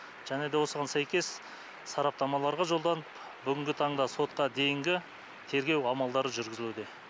және де осыған сәйкес сараптамаларға жолданып бүгінгі таңда сотқа дейінгі тергеу амалдары жүргізілуде